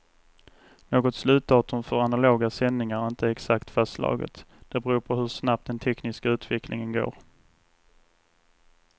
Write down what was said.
Något slutdatum för analoga sändningar är inte exakt fastslaget, det beror på hur snabbt den tekniska utvecklingen går.